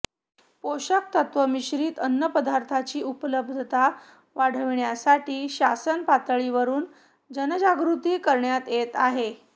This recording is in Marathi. पोषक तत्त्व मिश्रित अन्नपदार्थांची उपलब्धता वाढविण्यासाठी शासनपातळीवरून जनजागृती करण्यात येत आहे